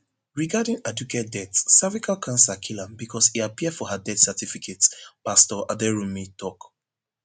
regarding aduke death cervical cancer kill am becos e appear for her death certificate pastor aderounmu tok